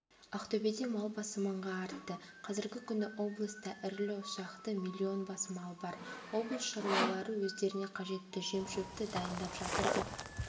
ақтөбеде мал басы мыңға артты қазіргі күні облыста ірілі-ұсақты миллион бас мал бар облыс шаруалары өздеріне қажетті жем-шөпті дайындап жатыр деп